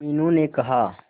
मीनू ने कहा